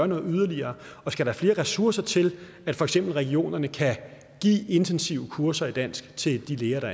noget yderligere skal der flere ressourcer til at for eksempel regionerne kan give intensive kurser i dansk til de læger